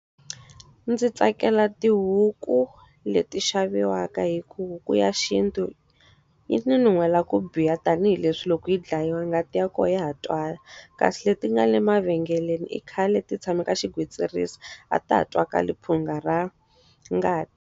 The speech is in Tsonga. Ndzi tsakela tihuku leti xaviwaka hikuva huku ya xintu yi ni nuhela ku biha tanihileswi loko yi dlayiwa ngati ya kona ya ha twala. Kasi leti nga le mavhengeleni i khale ti tshame ka xigwitsirisi, a ta ha twakali phunga ra ngati.